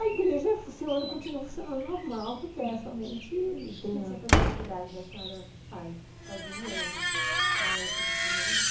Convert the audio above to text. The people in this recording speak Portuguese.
A igreja funciona e continua funcionando normal, porque é somente... Que tipo de atividades a senhora faz, fazia, ou na época principalmente?